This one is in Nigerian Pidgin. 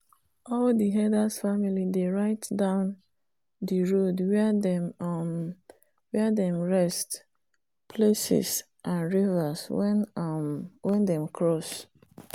all the herders family dey write down the road where them um rest places and rivers wen um them cross